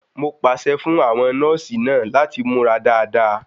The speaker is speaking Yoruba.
Mo pàṣẹ fún àwọn nọ́ọ̀sì náà láti múra dáadáa.